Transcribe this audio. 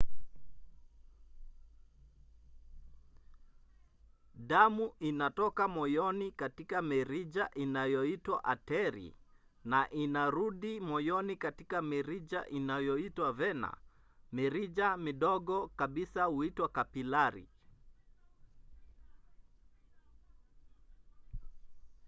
damu inatoka moyoni katika mirija inayoitwa ateri na inarudi moyoni katika mirija inayoitwa vena. mirija midogo kabisa huitwa kapilari